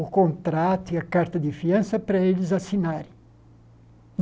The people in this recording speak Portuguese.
o contrato e a carta de fiança para eles assinarem.